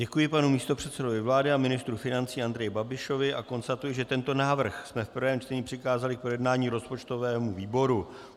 Děkuji panu místopředsedovi vlády a ministru financí Andreji Babišovi a konstatuji, že tento návrh jsme v prvém čtení přikázali k projednání rozpočtovému výboru.